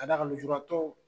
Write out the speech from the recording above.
Ka d'a kan lojuratɔw.